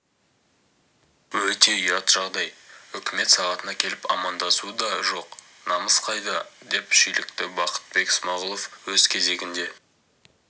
өте ұят жағдай үкімет сағатына келіп амандасу дажоқ намыс қайда деп шүйлікті бақытбек смағұл өз кезегінде